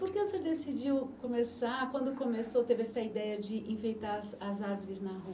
Por que o senhor decidiu começar, quando começou, teve essa ideia de enfeitar as as árvores na rua?